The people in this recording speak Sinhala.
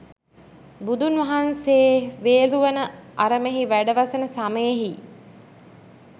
බුදුන් වහන්සේ වේළුවන අරමෙහි වැඩ වසන සමයෙහි